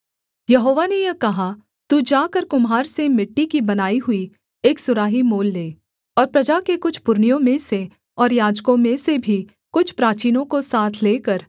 यहोवा ने यह कहा तू जाकर कुम्हार से मिट्टी की बनाई हुई एक सुराही मोल ले और प्रजा के कुछ पुरनियों में से और याजकों में से भी कुछ प्राचीनों को साथ लेकर